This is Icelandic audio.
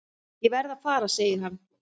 Ég verð að fara segir hann.